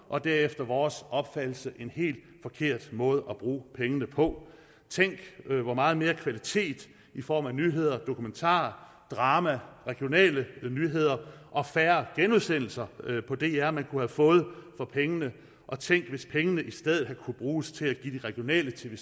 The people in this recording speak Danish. og det er efter vores opfattelse en helt forkert måde at bruge pengene på tænk hvor meget mere kvalitet i form af nyheder dokumentarer drama regionale nyheder og færre genudsendelser på dr man kunne have fået for pengene og tænk hvis pengene i stedet havde kunnet bruges til at give de regionale tv